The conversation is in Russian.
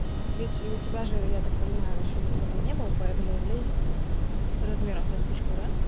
ведь у тебя же я так понимаю ещё никто там не был поэтому и влезет с размером со спичку да